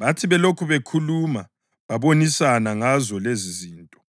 Bathi belokhu bekhuluma bebonisana ngazo lezizinto,